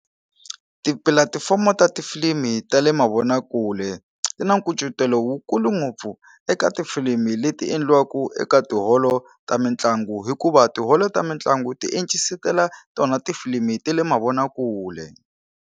Tipulatifomo ta tifilimu ta le mavonakule ti na nkucetelo wu kulu ngopfu eka tifilimi leti endliwaku eka tiholo ta mitlangu hikuva tiholo ta mitlangu ti encisetela tona tifilimi ta le mavonakule.